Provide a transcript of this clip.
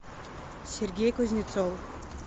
сергей кузнецов